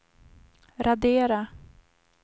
radera